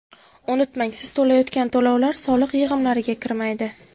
Unutmang, siz to‘layotgan to‘lovlar soliq yig‘imlariga kirmaydi.